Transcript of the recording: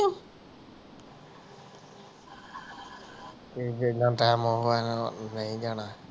ਤੂੰ ਵੇਹਲਾ ਟਾਈਮ ਆਉਣਾ ਏ ਨਹੀਂ ਜਾਣਾ